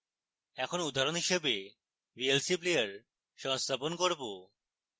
এখন উদাহরণ হিসাবে vlc player সংস্থাপন করব